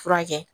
Furakɛ